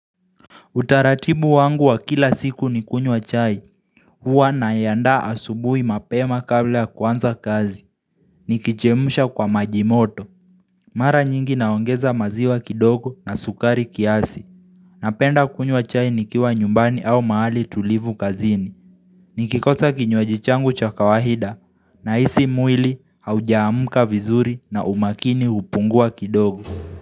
Utaratibu wangu wa kila siku ni kunywa chai, huwa naiandaa asubuhi mapema kabla ya kuanza kazi, nikichemsha kwa maji moto, mara nyingi naongeza maziwa kidogo na sukari kiasi, napenda kunywa chai nikiwa nyumbani au mahali tulivu kazini, nikikosa kinywaji changu cha kawaida nahisi mwili haujaamka vizuri na umakini hupungua kidogo.